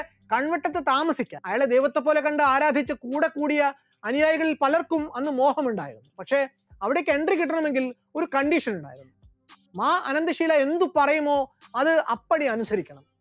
കൺവെട്ടത്തു താമസിച്ച അയാളെ ദൈവത്തെപ്പോലെ കണ്ട് ആരാധിച്ചു കൂടെകൂടിയ അനുയായികളിൽ പലർക്കും അന്ന് മോഹമുണ്ടായി, പക്ഷെ അവിടേക്ക് entry കിട്ടണമെങ്കിൽ ഒരു condition ഉണ്ട്, മാ അനന്തഷീല എന്തുപറയുമോ അത് അപ്പടി അനുസരിക്കും